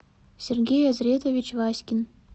сергей азретович васькин